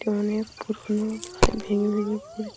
এটা অনেক পুরোনো প্রায় ভেঙে ভেঙে পড় --